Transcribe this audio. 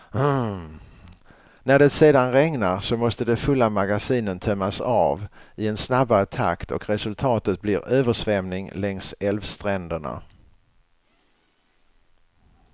När det sedan regnar, så måste de fulla magasinen tömmas av i en snabbare takt och resultatet blir översvämning längs älvstränderna.